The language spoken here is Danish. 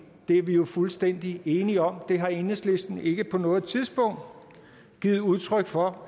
det er vi jo fuldstændig enige om og det har enhedslisten ikke på noget tidspunkt givet udtryk for